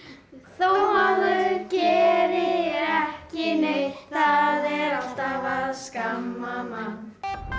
þó maður geri ekki neitt það er alltaf að skamma mann